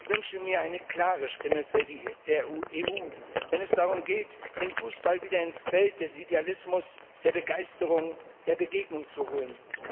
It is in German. Ich wünsche mir eine klare Stimme der EU, wenn es darum geht, den Fußball wieder ins Feld des Idealismus, der Begeisterung, der Begegnung zu holen.